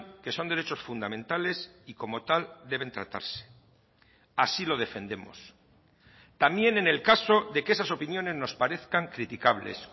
que son derechos fundamentales y como tal deben tratarse así lo defendemos también en el caso de que esas opiniones nos parezcan criticables